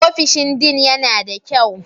Ofishin Dean yana da kyau?